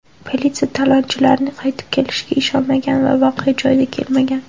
Politsiya talonchilarning qaytib kelishiga ishonmagan va voqea joyiga kelmagan.